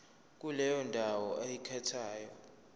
kuleyo ndawo oyikhethayo